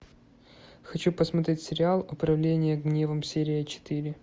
хочу посмотреть сериал управление гневом серия четыре